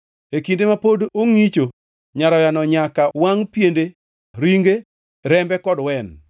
E kinde ma pod ongʼicho nyaroyano nyaka wangʼ piende, ringe, rembe kod wen.